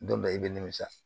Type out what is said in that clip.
Don bɛ i bɛ nimisa